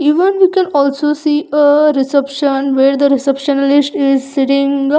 Even you can also see a reception where the receptionlist is a sitting aa --